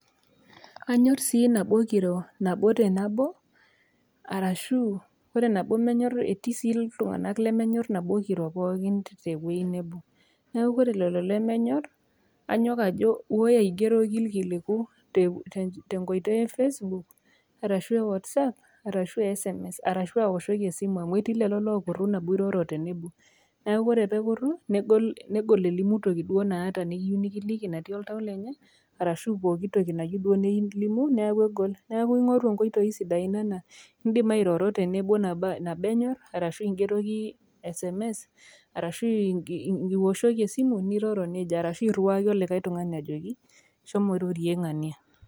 Aanyor sii teneikiro nabo te nabo, arashu etii sii iltung'ana lemenyor teneikiro pookin te ewueji nabo. Neaku ore lelo lemenyor, nanyok ajo aigeroki iilkiliku tenkoitoi e Facebook arashu e Whatsapp, arashu aoshoki esimu arashu sms amu etii lelo oota enkuruna teneiroro tenebo. Neaku ore pee ekuru negol elimu toki duo naata nayiou nekiliki natii oltau lenye arashu pooki toki duo nayieu nelimu neaku egol. Neaku ing'oru inkoitoi sidain naa keidim airoro tenebo nabo enyor arashu ing'eroki sms arashu ioshoki esimu arashu iriwaki olikai tung'ani ajoki shomoki irorie ng'ania.